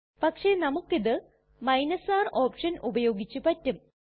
പക്ഷെ നമുക്കിത് R option ഉപയോഗിച്ച് പറ്റും